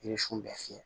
Yiri sun bɛɛ fiyɛ